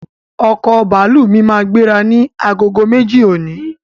Ọkọ̀ bàálù mí máa gbéra ni agogo méjì òní